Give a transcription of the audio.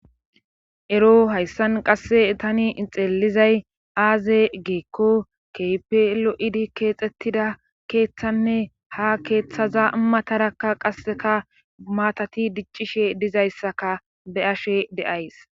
ero hayssan qasse tani ixeelizay aaze geekko kepelo7idi keexettida keeththanne ha keeththaza matarakka qasseka maatati diccishe dizayssaka be ashe deays